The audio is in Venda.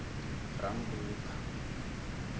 rammbuḓa